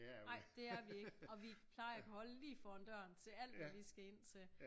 Nej det er vi ikke og vi plejer at kunne holde lige foran døren til alt vi lige skal ind til